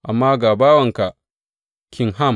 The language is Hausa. Amma ga bawanka Kimham.